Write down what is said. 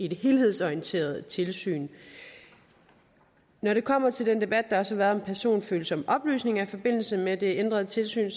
helhedsorienteret tilsyn når det kommer til den debat der også har været om personfølsomme oplysninger i forbindelse med det ændrede tilsyn